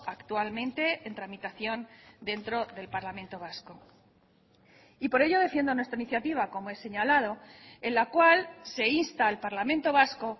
actualmente en tramitación dentro del parlamento vasco y por ello defiendo nuestra iniciativa como he señalado en la cual se insta al parlamento vasco